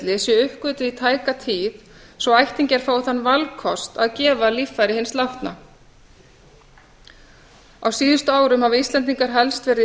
heiladauðatilfelli séu uppgötvuð í tæka tíð svo að ættingjar fái þann valkost að gefa líffæri hins látna á síðustu árum hafa íslendingar helst verið í